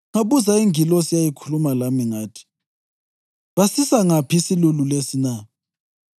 Ngabuza ingilosi eyayikhuluma lami ngathi, “Basisa ngaphi isilulu lesi na?”